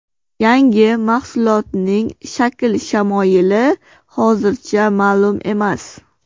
Yangi mahsulotning shakl-shamoyili hozircha ma’lum emas.